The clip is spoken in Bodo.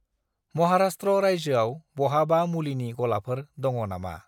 महाराष्ट्र रायजोआव बहाबा मुलिनि गलाफोर दङ नामा?